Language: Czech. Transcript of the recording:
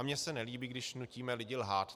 A mně se nelíbí, když nutíme lidi lhát.